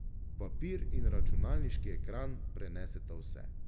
Papir in računalniški ekran preneseta vse.